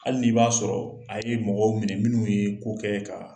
Hali n'i b'a sɔrɔ a ye mɔgɔ minɛ minnu ye ko kɛ ka